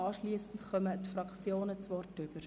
Anschliessend erhalten die Fraktionen das Wort.